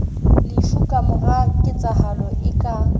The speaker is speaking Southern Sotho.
lefu kamora ketsahalo e ka